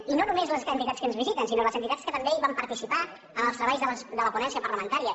i no només les entitats que ens visiten sinó les entitats que també van participar en els treballs de la ponència parlamentària